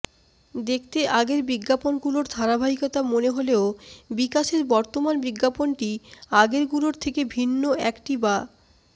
দেখতে আগের বিজ্ঞাপনগুলোর ধারাবাহিকতা মনে হলেও বিকাশের বর্তমান বিজ্ঞাপনটি আগেরগুলো থেকে ভিন্ন একটি বা